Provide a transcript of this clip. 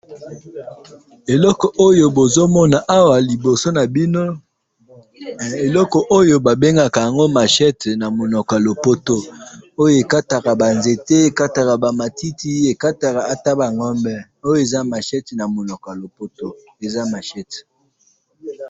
eloko oyo bozokomona awa liboso nabino eloko oyo babengaka yango machette namonoko ya lopoto oyo ekataka banzete ekataka banzete ekataka bamatiti eh etabangome eh eza machette namoko ya lopoto eza machette